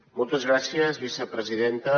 moltes gràcies vicepresidenta